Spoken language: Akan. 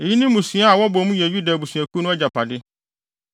Eyi ne mmusua a wɔbɔ mu yɛ Yuda abusuakuw no agyapade.